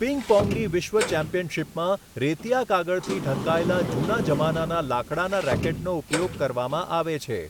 પિંગ પૉંગની વિશ્વ ચેમ્પિયનશિપમાં રેતિયા કાગળથી ઢંકાયેલા જૂના જમાનાના લાકડાના રેકેટનો ઉપયોગ કરવામાં આવે છે.